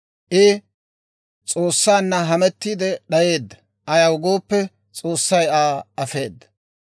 I S'oossanna hamettiidde d'ayeedda; ayaw gooppe, S'oossay Aa afeedda.